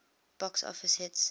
box office hits